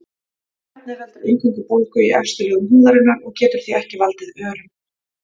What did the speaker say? Efnið veldur eingöngu bólgu í efstu lögum húðarinnar og getur því ekki valdið örum.